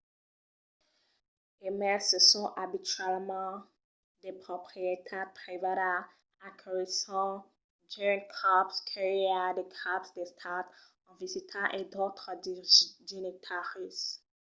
e mai se son abitualament de proprietat privada aculhisson d’unes còps que i a de caps d’estat en visita e d’autres dignitaris